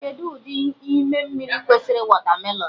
Kedụ ụdị ime mmiri kwesịrị wọtamelon?